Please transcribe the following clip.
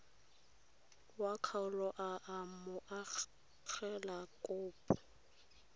wa kgaolo a amogela kopo